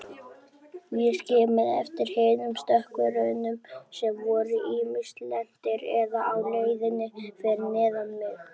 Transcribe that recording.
Ég skimaði eftir hinum stökkvurunum sem voru ýmist lentir eða á leiðinni fyrir neðan mig.